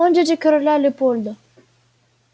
он дядя короля лепольда